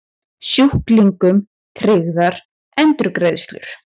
Sjúklingum tryggðar endurgreiðslur